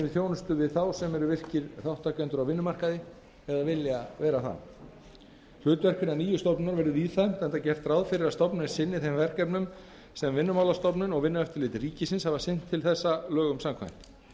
þjónustu við þá sem eru þar virkir þátttakendur á vinnumarkaði eða vilja vera það hlutverk hinnar nýju stofnunar verður víðfeðmt enda er gert ráð fyrir að stofnunin sinni þeim verkefnum sem vinnumálastofnun og vinnueftirlit ríkisins af sinnt til þessa lögum samkvæmt